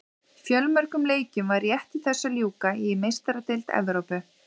Fjölmörgum leikjum var rétt í þessu að ljúka í Meistaradeild Evrópu.